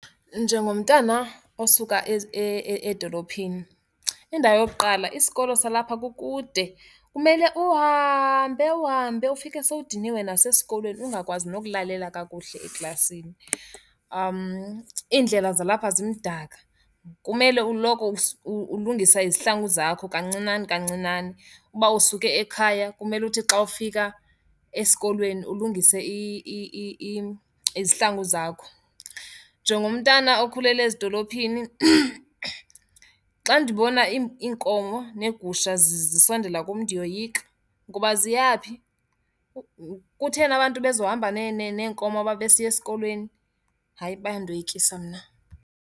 Njengomntwana osuka edolophini, indawo yokuqala isikolo salapha kukude. Kumele uhambe uhambe ufike sowudiniwe nasesikolweni ungakwazi nokulalela kakuhle eklasini. Iindlela zalapha zimdaka, kumele uloko ulungisa izihlangu zakho kancinane kancinane. Uba usuke ekhaya kumele uthi xa ufika esikolweni ulungise izihlangu zakho. Njengomntana okhulele ezidolophini, xa ndibona iinkomo neegusha zisondela kum ndiyoyika. Ngoba ziyaphi? Kutheni abantu bezohamba neenkomo uma besiya esikolweni? Hayi bayandoyikisa mna.